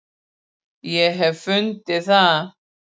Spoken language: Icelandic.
Ég hef fundið það!